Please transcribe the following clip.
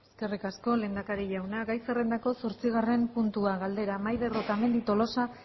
eskerrik asko lehendakari jauna gai zerrendako zortzigarren puntua galdera maider otamendi tolosa